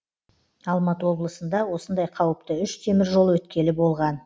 алматы облысында осындай қауіпті үш теміржол өткелі болған